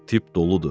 Tip doludur.